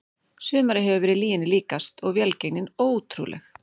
Sumarið hefur verið lyginni líkast og velgengnin ótrúleg.